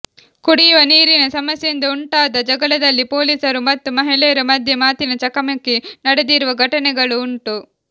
ಕುಡಿಯುವ ನೀರಿನ ಸಮಸ್ಯೆಯಿಂದ ಉಂಟಾದ ಜಗಳದಲ್ಲಿ ಪೋಲಿಸರು ಮತ್ತು ಮಹಿಳೆಯರ ಮಧ್ಯೆ ಮಾತಿನ ಚಕಮಕಿ ನಡೆದಿರುವ ಘಟನೆಗಳು ಉಂಟು